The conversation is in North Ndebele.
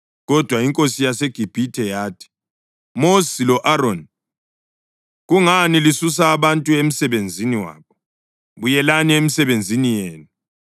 Kodwa inkosi yaseGibhithe yathi, “Mosi lo-Aroni, kungani lisusa abantu emsebenzini wabo? Buyelani emisebenzini yenu.”